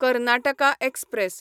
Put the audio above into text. Karnataka express